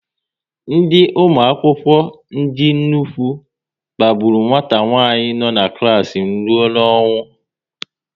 Ndị ụmụ akwụkwọ ndị nnukwu kpagburu nwata nwanyị no n'klas m rụọ n'ọnwụ